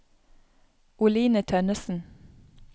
Oline Tønnessen